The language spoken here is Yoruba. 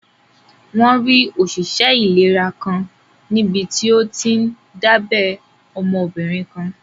Wọ́n rí òṣìṣẹ́ ìlera kan níbití ó tíí n dábẹ́ ọmọbìnrin kan